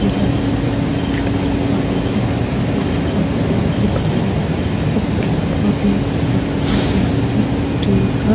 यह एक प्लेटफार्म है | यह प्लेटफार्म बहुत ही बढ़िया है | इस प्लेटफार्म में काफी सारे आदमी ट्रेन का--